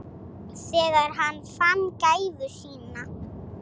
Þegar hann fann gæfu sína.